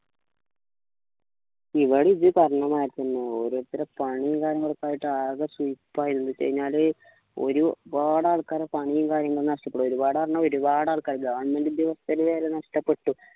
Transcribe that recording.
ഇവിടെ ഇത് പറഞ്ഞ മാതിരി തന്നെ ഓരോരുത്തരെ പണിയും കാര്യങ്ങളൊക്കെ ആയിട്ട് ആകെ സയ്യിപ്പ് നിന്നിക് ഒരുപാട് ആൾക്കാരെ പണിയും കാര്യങ്ങളും നഷ്ടപ്പെട്ട് ഒരുപാട് പറഞ്ഞ ഒരുപാട് ആൾക്കാർ govt ഉദ്യോഗസ്ഥരെ വരെ നഷ്ടപ്പെട്ടു